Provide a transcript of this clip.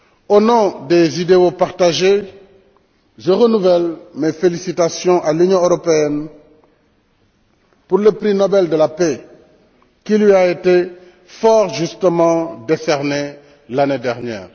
Au nom des idéaux partagés, je renouvelle mes félicitations à l'Union européenne pour le prix Nobel de la paix qui lui a été fort justement décerné l'année dernière.